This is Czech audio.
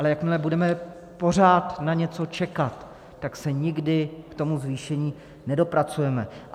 Ale jakmile budeme pořád na něco čekat, tak se nikdy k tomu zvýšení nedopracujeme.